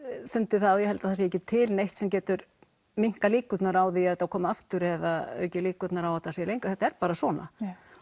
fundið það og ég held það sé ekki til neitt sem getur minnkað líkurnar á því að þetta komi aftur eða auki líkurnar á að þetta sé lengra þetta er bara svona